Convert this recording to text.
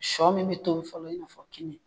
Sɔ min bɛ toi fɔlɔ i b'a fɔ kini.